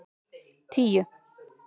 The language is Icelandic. tíu